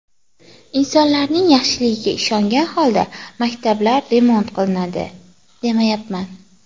Insonlarning yaxshiligiga ishongan holda maktablar remont qilinadi, demayapman.